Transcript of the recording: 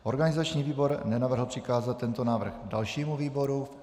Organizační výbor nenavrhl přikázat tento návrh dalšímu výboru.